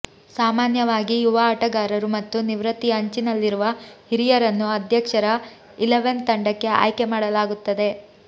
ಸಾಮಾನ್ಯವಾಗಿ ಯುವ ಆಟಗಾರರು ಮತ್ತು ನಿವೃತ್ತಿಯ ಅಂಚಿನಲ್ಲಿರುವ ಹಿರಿಯರನ್ನು ಅಧ್ಯಕ್ಷರ ಇಲೆವನ್ ತಂಡಕ್ಕೆ ಆಯ್ಕೆ ಮಾಡಲಾಗುತ್ತದೆ